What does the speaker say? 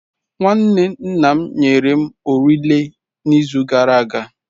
Nwanne nna m nyere m orele n'izu gara aga.